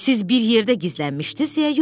Siz bir yerdə gizlənmişdiniz, yoxsa yox?